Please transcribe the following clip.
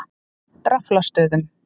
Draflastöðum